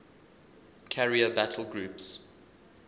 carrier battle groups